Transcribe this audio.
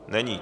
Není.